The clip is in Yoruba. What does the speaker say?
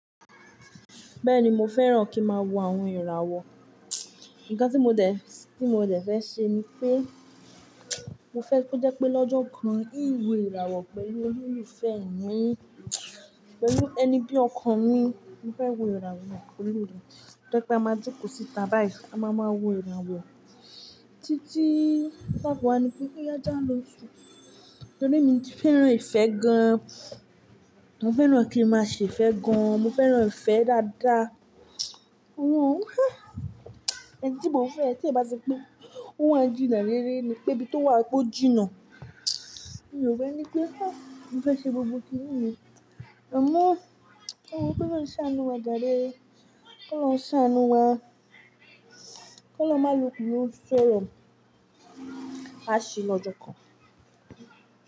Bẹ́ẹ̀ni, mo fẹ́ràn kí máa wo àwọn ìràwọ̀. Ǹkan tí mo dẹ̀, tí mo dẹ̀ fẹ́ ṣè ni pé, mo fẹ́ kó jẹ́ pé lọ́jọ́ kan n wo ìràwọ̀ pẹ̀lú olòlufẹ́ mi pẹ̀lú ẹni bí ọkọ n mi. Mo fẹ́ wo ìràwọ̀ pẹ̀lú rẹ̀. Fẹ́ ki a máa jòkò síta báyìí a máa máa wo ìràwọ̀ títí táìpà wá ni pé kó yá jià lósùn. Torí mi ti fẹ́ràn ìfẹ́ gan. Mo fẹ́ràn kí i máa ṣe ìfẹ́ gan. Mo fẹ́ràn ìfẹ́ dáadáa. Ohun òhán, ẹni tí mo fẹ́ tí bá ṣe pé ó ń jìnà rere ni pẹ́ bí tó wà kó jìnnà. Mi ò fẹ́ ní pé, mo fẹ́ ṣe gbogbo kíyìn mi. Amọ̀, ewo k'ọlọhun ṣáánù wa jàre, kọ Ọlọhun ṣàánù wa, kó Ọlọhun má loku lọ ń sọ̀rọ̀, a ṣe lọ́jọ́ kan.